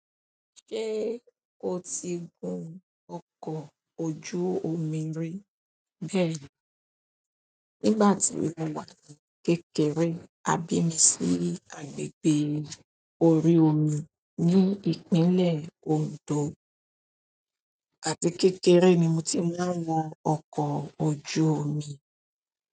Ṣé o ti gun ọkọ̀ ojú omi rí? Bẹ́ẹ̀ni, nígbà tí mo wà ní kékeré, a bí mi sí agbègbè orí omi ní Ìpínlẹ̀ Ondo àti kékeré ni mo ti máa ń wa ọkọ̀ ojú omi.